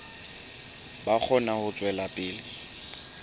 ba kgone ho tswela pele